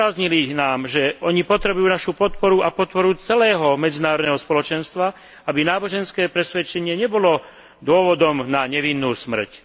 Zdôraznili nám, že oni potrebujú našu podporu a podporu celého medzinárodného spoločenstva, aby náboženské presvedčenie nebolo dôvodom na nevinnú smrť.